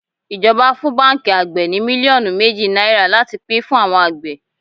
Ijoba fún báńkì àgbè ní mílíọ̀nù méjì náírà láti pín fún àwọn àgbẹ̀.